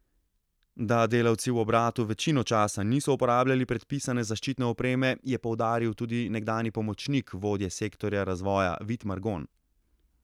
Da delavci v obratu večino časa niso uporabljali predpisane zaščitne opreme, je poudaril tudi nekdanji pomočnik vodje sektorja razvoja Vid Margon.